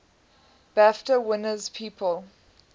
bafta winners people